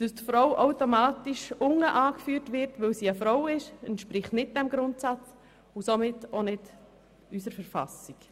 Dass die Frau automatisch unten angeführt wird, weil sie eine Frau ist, entspricht nicht diesem Grundsatz und somit auch nicht unserer Verfassung.